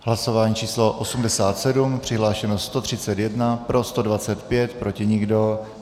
Hlasování číslo 87, přihlášeno 131, pro 125, proti nikdo.